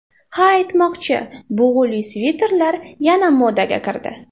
Ha aytmoqchi, bug‘uli sviterlar yana modaga kirdi.